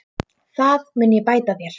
Það mun ég bæta þér.